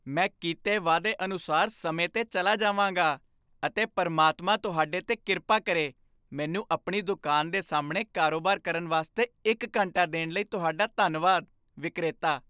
ਮੈਂ ਕੀਤੇ ਵਾਅਦਾ ਅਨੁਸਾਰ ਸਮੇਂ 'ਤੇ ਚਲਾ ਜਾਵਾਂਗਾ, ਅਤੇ ਪ੍ਰਮਾਤਮਾ ਤੁਹਾਡੇ 'ਤੇ ਕਿਰਪਾ ਕਰੇਮੈਨੂੰ ਆਪਣੀ ਦੁਕਾਨ ਦੇ ਸਾਹਮਣੇ ਕਾਰੋਬਾਰ ਕਰਨ ਵਾਸਤੇ ਇੱਕ ਘੰਟਾ ਦੇਣ ਲਈ ਤੁਹਾਡਾ ਧੰਨਵਾਦ ਵਿਕਰੇਤਾ